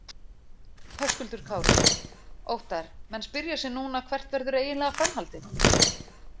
Höskuldur Kári: Óttarr, menn spyrja sig núna hvert verður eiginlega framhaldið?